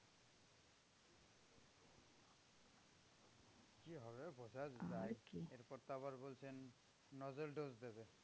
বোঝা দায় এরপর তো আবার বলছেন nasal dose দেবেন।